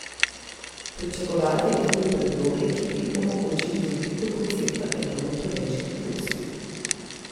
Pričakovati je torej predloge, ki bi omogočili krepitev koncepta Evrope več hitrosti.